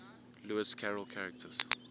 lewis carroll characters